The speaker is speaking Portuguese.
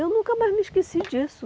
Eu nunca mais me esqueci disso.